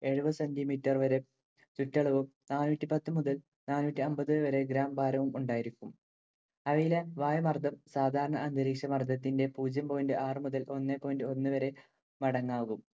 എഴുപതു centi meter വരെ ചുറ്റളവും, നാനൂറ്റി പത്ത് മുതല്‍ നാനൂറ്റിഅമ്പത് വരെ gram ഭാരവും ഉണ്ടായിരിക്കും. അവയിലെ വായുമർദ്ദം സാധാരണ അന്തരീക്ഷമർദ്ദത്തിന്റെ പൂജ്യം point ആറു മുതൽ ഒന്ന് point ഒന്ന് വരെ വരെ മടങ്ങ് ആകും.